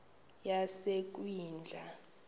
yasekwindla